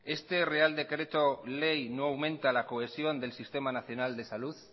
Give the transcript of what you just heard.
este real decreto ley no aumenta la cohesión del sistema nacional de salud